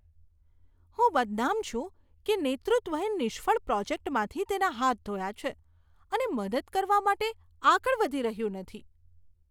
હું બદનામ છું કે નેતૃત્વએ નિષ્ફળ પ્રોજેક્ટમાંથી તેના હાથ ધોયા છે અને મદદ કરવા માટે આગળ વધી રહ્યું નથી.